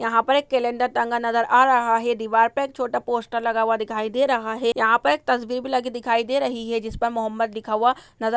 यहाँ पर एक कैलेंडर टंगा नज़र आ रहा है। दीवार पर एक छोटा पोस्टर लगा हुआ दिखाई दे रहा है। यहाँ पर एक तस्बीर भी लगी दिखाई दे रही है जिस पर मोहम्मद लिखा हुआ नजर --